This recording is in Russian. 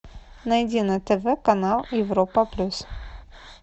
найди на тв канал европа плюс